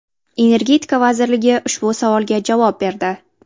Energetika vazirligi ushbu savolga javob berdi .